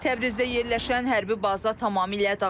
Təbrizdə yerləşən hərbi baza tamamilə dağıdılıb.